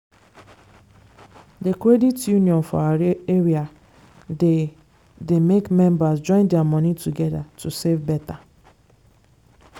the credit union for our area dey dey make members join their money together to save better.